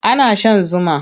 Ana shan zuma.